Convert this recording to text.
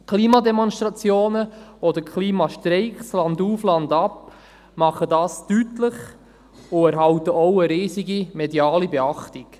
Klimademonstrationen oder Klimastreiks landauf, landab machen es deutlich und erhalten auch eine riesige mediale Beachtung.